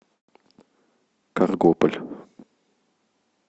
каргополь